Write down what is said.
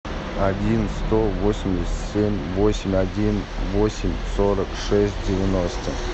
один сто восемьдесят семь восемь один восемь сорок шесть девяносто